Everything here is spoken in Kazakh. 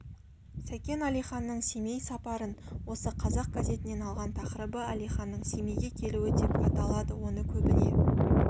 сәкен әлиханның семей сапарын осы қазақ газетінен алған тақырыбы әлиханның семейге келуі деп аталады оны көбіне